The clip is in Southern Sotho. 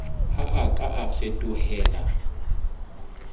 ha a ka a fetohela